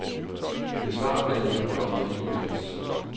Besvar alle indkomne e-mails.